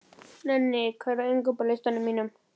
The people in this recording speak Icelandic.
Nenni, hvað er á innkaupalistanum mínum?